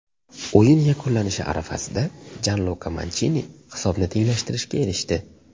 O‘yin yakunlanishi arafasida Janluka Manchini hisobni tenglashtirishga erishdi.